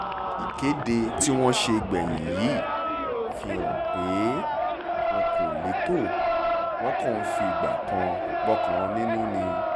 ìkéde tí wọ́n ṣe gbẹ̀yìn yìí fi hàn pé wọn kò lẹ́tọ́ wọn kàn ń figbá kan bọ̀kan nínú ni